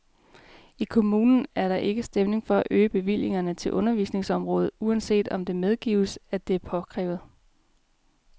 I kommunen er der ikke stemning for at øge bevillingerne til undervisningsområdet, uanset at det medgives, at det er påkrævet.